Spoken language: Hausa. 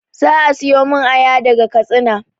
Za a siyomin aya daga katsina